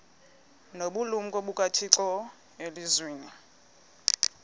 nobulumko bukathixo elizwini